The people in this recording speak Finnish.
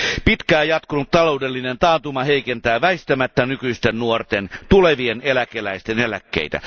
Pitkään jatkunut taloudellinen taantuma heikentää väistämättä nykyisten nuorten, tulevien eläkeläisten eläkkeitä.